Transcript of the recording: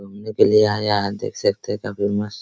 घूमने के लिए आया है देख सकते है काफी मस्त --